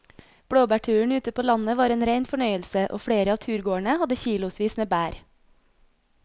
Blåbærturen ute på landet var en rein fornøyelse og flere av turgåerene hadde kilosvis med bær.